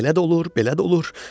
Elə də olur, belə də olur.